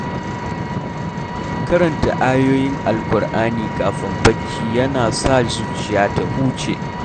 Karanta ayoyin Alƙur’ani kafin barci yana sa zuciya ta huce.